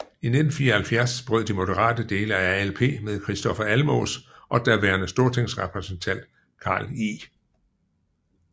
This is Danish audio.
I 1974 brød de moderate dele af ALP med Kristofer Almås og daværende stortingsrepræsentant Carl I